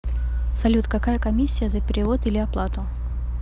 салют какая комиссия за перевод или оплату